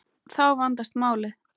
Þá vandast málið.